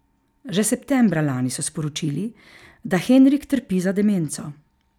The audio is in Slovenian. Že septembra lani so sporočili, da Henrik trpi za demenco.